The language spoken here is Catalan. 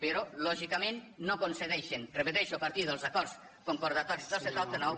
però lògicament no concedeixen ho repeteixo a partir dels acords concordatoris del setanta nou